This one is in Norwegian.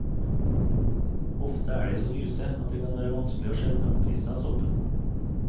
Ofte er de så lyse at det kan være vanskelig å skjelne omrisset av soppen.